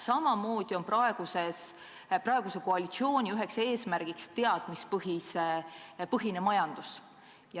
Samamoodi on praeguse koalitsiooni üks eesmärk teadmispõhine majandus.